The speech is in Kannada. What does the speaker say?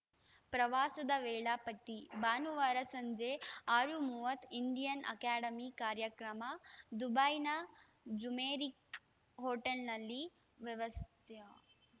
ಪ್ರವಾಸದ ವೇಳಾಪಟ್ಟಿ ಭಾನುವಾರ ಸಂಜೆ ಆರು ಮೂವತ್ ಇಂಡಿಯನ್‌ ಅಕಾಡೆಮಿ ಕಾರ್ಯಕ್ರಮ ದುಬೈನ ಜುಮೇರಿಕ್‌ ಹೋಟೆಲ್‌ನಲ್ಲಿ ವ್ಯವಸ್ತಯ